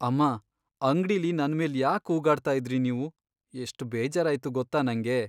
ಅಮ್ಮಾ! ಅಂಗ್ಡಿಲಿ ನನ್ಮೇಲ್ ಯಾಕ್ ಕೂಗಾಡ್ತಾ ಇದ್ರಿ ನೀವು, ಎಷ್ಟ್ ಬೇಜಾರಾಯ್ತು ಗೊತ್ತಾ ನಂಗೆ.